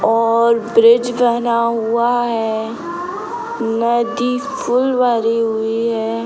और ब्रिज बना हुआ है। नदी फुल भरी हुई है।